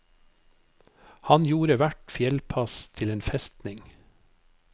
Han gjorde hvert fjellpass til en festning.